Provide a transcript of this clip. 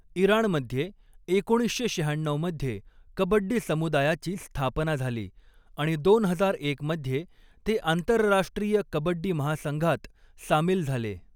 इराणमध्ये एकोणीसशे शहाण्णऊ मध्ये कबड्डी समुदायाची स्थापना झाली आणि दोन हजार एक मध्ये ते आंतरराष्ट्रीय कबड्डी महासंघात सामील झाले.